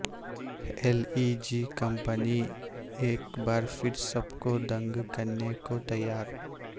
L E G company ایک بار پھر سب کو دنگ کرنے کو تیار